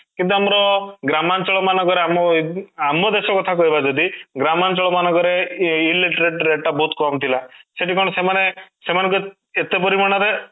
କିନ୍ତୁ ଆମର ଗ୍ରାମାଞ୍ଚଳ ମାନଙ୍କରେ ଆମ ଆମ ଦେଶ କଥା କହିବା ଯଦି ଗ୍ରାମାଞ୍ଚଳ ମାନଙ୍କରେ illiterate rate ଟା ବହୁତ କମ ଥିଲା ସେଇଠି କ'ଣ ସେମାନେ କ'ଣ ଏତେ ପରିମାଣ ରେ